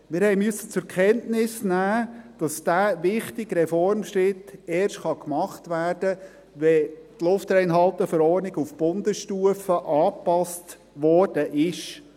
Wir mussten zur Kenntnis nehmen, dass dieser wichtige Reformschritt erst gemacht werden kann, wenn die LRV auf Bundesstufe angepasst worden ist.